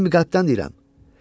Səmimi qəlbdən deyirəm.